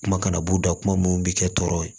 Kuma kana b'u da kuma mun bɛ kɛ tɔɔrɔ ye